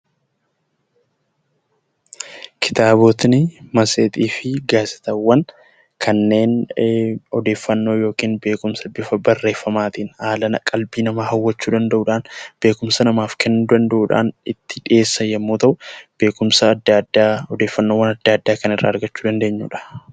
Kitaabotni, matseetii fi gaazixaawwan kanneen odeeffannoo ykn beekumsa bifa barreeffamaatiin haala qalbii nama hawwachuu danda'uudhaan, beekumsa namaa kennuu danda'uudhaan itti dhiyeessan yommuu ta'u, beekumsa adda addaa odeeffannoowwan adda addaa irraa kan irraa argachuu dandeenyuudha.